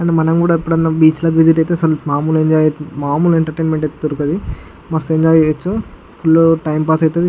మనం కూడా ఎప్పుడు ఆయన బీచ్ లోకి ఎంటర్ అయితే మమ్ముల్లు ఎంటర్టైన్మెంట్ అయితే దొరకదు. మస్తు ఎంజాయ్ చేయచు. ఫుల్ టైం పాస్ అయితది.